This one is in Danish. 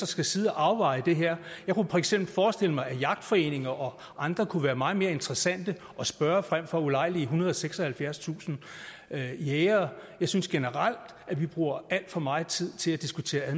skal sidde og afveje det her jeg kunne for eksempel forestille mig at jagtforeninger og andre kunne være meget mere interessante at spørge frem for at ulejlige ethundrede og seksoghalvfjerdstusind jægere jeg synes generelt vi bruger alt for meget tid til at diskutere